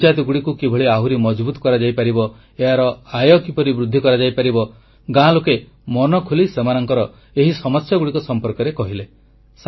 ପଞ୍ଚାୟତଗୁଡ଼ିକୁ କିଭଳି ଆହୁରି ମଜଭୁତ କରାଯାଇପାରିବ ଏହାର ଆୟ କିପରି ବୃଦ୍ଧି କରାଯାଇପାରିବ ଗାଁ ଲୋକେ ମନଖୋଲି ସେମାନଙ୍କର ଏହି ସମସ୍ୟାଗୁଡ଼ିକ ବିଷୟରେ କହିଲେ